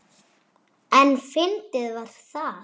En fyndið var það.